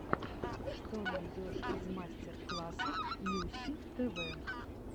что найдешь из мастер классов нюси тв